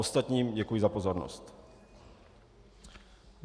Ostatním děkuji za pozornost.